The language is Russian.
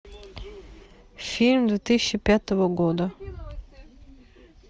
фильм две тысячи пятого года